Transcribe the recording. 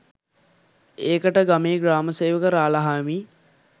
ඒකට ගමේ ග්‍රාමසේවක රාළහාමි